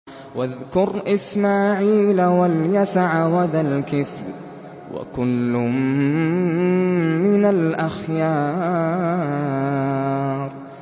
وَاذْكُرْ إِسْمَاعِيلَ وَالْيَسَعَ وَذَا الْكِفْلِ ۖ وَكُلٌّ مِّنَ الْأَخْيَارِ